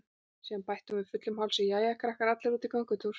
Síðan bætti hún við fullum hálsi: Jæja krakkar, allir út í göngutúr